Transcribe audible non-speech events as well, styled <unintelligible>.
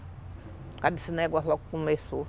Por causa desse negócio <unintelligible> que começou.